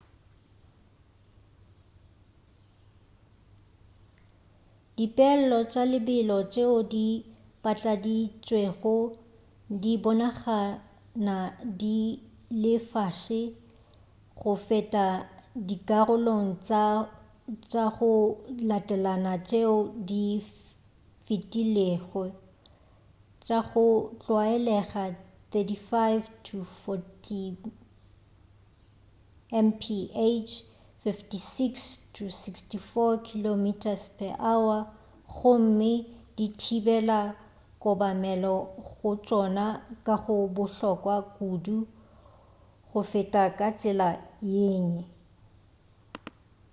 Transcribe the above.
dipeelo tša lebelo tšeo di patladitšwego di bonagana di le fase go feta dikarolong tša go latelana tšeo di fetilwego — tša go tlwaelega 35-40 mph 56-64 km/h — gomme di thibela kobamelo go tšona ka go bohlokwa kudu go feta ka tsela yengwe